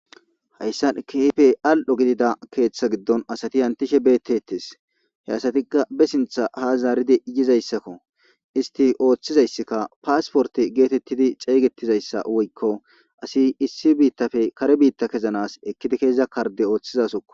hayssan kehippe al7o gidida keeththa giddon asati hantishe beettetes he asatikka be sintha ha zaaridei yizayssakko isti ooththizayssikka paasporte geetettidi ceeyetizayssa woykko asi issi biittafe kare biitta kezanas ekkidi keeza karde ooththizasoko